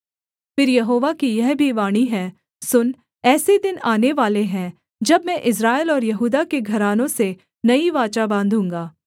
फिर यहोवा की यह भी वाणी है सुन ऐसे दिन आनेवाले हैं जब मैं इस्राएल और यहूदा के घरानों से नई वाचा बाँधूँगा